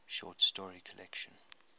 short story collection